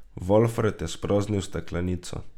Valfred je spraznil steklenico.